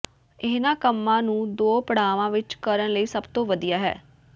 ਇਨ੍ਹਾਂ ਕੰਮਾਂ ਨੂੰ ਦੋ ਪੜਾਆਂ ਵਿਚ ਕਰਨ ਲਈ ਸਭ ਤੋਂ ਵਧੀਆ ਹੈ